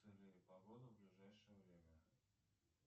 погоду в ближайшее время